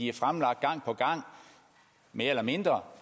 er fremlagt gang på gang mere eller mindre